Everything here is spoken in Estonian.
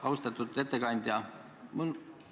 Austatud ettekandja!